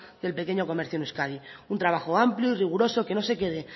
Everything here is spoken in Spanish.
del pequeño comercio en euskadi un trabajo amplio y riguroso que no se quede